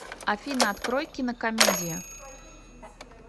афина открой кинокомедия